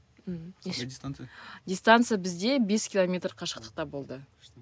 дистанция бізде бес километр қашықтықта болды